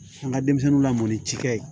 An ka denmisɛnninw lamɔ ni cikɛ ye